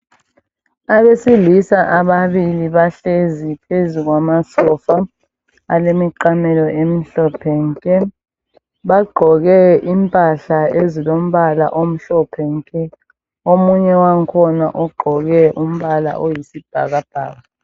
Abesilisa ababili bahlezi phezu kwamasofa alemiqamelo emhlophe nke. Bagqoke impahla ezilombala omhlophe nke. Omunye wangakhona ugqoke umbala oyisibhakabhaka.